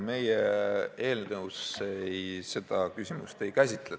Meie eelnõus seda küsimust ei käsitleta.